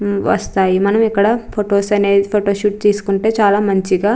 వస్తాయి మనం ఇక్కడ ఫొటోస్ అనేవి ఫొటో షూట్ తీసుకుంటే చాలా మంచిగా --